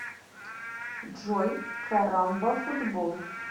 джой карамбафутбол